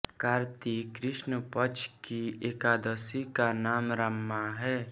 कार्तिक कृष्ण पक्ष की एकादशी का नाम रमा है